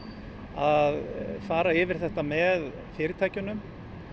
að fara yfir þetta með fyrirtækjunum